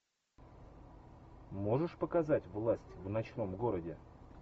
можешь показать власть в ночном городе